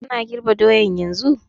Kana girb doyan yanzun?